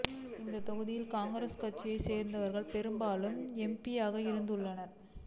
இந்த தொகுதியில் காங்கிரஸ் கட்சியைச் சேர்ந்தவர்களே பெரும்பாலும் எம்பியாக இருந்துள்ளனர்